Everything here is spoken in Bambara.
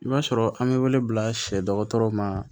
I b'a sɔrɔ an bɛ wele bila sɛ dɔgɔtɔrɔ ma